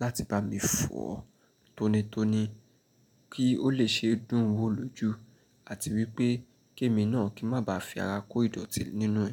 láti bá mi fọọ tónítóní kí ó lè ṣe dùn wò lójú àti wípé kémi náà kí má bá fi ara kó ìdọ̀tí nínú ẹ̀.